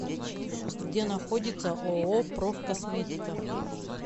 где находится ооо проф косметика